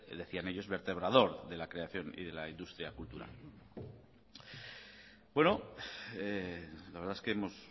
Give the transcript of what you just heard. de decían ellos vertebrador de la creación y de la industria cultural bueno la verdad es que hemos